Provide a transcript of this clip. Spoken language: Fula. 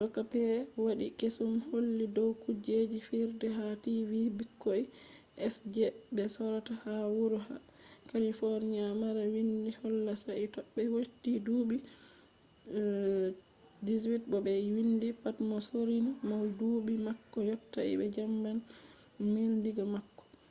doka ɓe waɗi kesum holli dow kujeji fijerde ha tv ɓikkoi sje ɓe sorata ha wuro kalifoniya mara windi holla sai toɓe yotti duuɓi 18 bo ɓe windi pat mo sorrini mo duuɓi mako yottai ɓe jaɓan $1000 diga mako